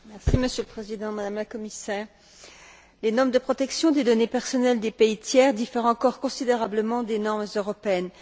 Monsieur le Président, Madame la Commissaire, les normes de protection des données personnelles des pays tiers diffèrent encore considérablement des normes européennes.